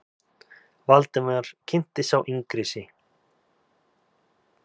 Valdimar kynnti sá yngri sig.